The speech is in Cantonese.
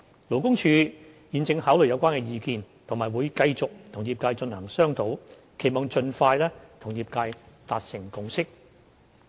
勞工處現正考慮有關意見，並會繼續與業界進行商討，期望盡快與業界達成共識。